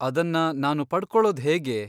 ಅದನ್ನ ನಾನು ಪಡ್ಕೊಳೋದ್ ಹೇಗೆ?